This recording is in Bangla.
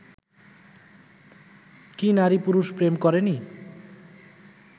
কি নারী-পুরুষ প্রেম করেনি